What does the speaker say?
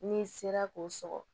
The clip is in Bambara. N'i sera k'o sɔgɔ